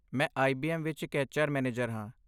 ਮੈਂ ਆਈ.ਬੀ.ਐੱਮ. ਵਿੱਚ ਇੱਕ ਐੱਚ ਆਰ ਮੈਨੇਜਰ ਹਾਂ।